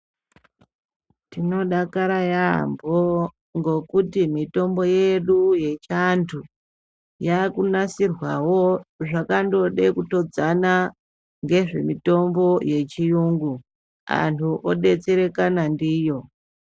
Tinodakara yambo ngokuti mitombo yedu yechiantu yakunasirwawo zvakandode kutodzana ngezvemitombo yechiyungu , anhu odetserekana ndiyo.